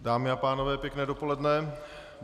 Dámy a pánové, pěkné dopoledne.